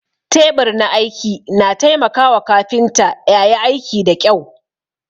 Teɓur na aiki na taimaka wa kafinta ƴayi aiki da ƙƴau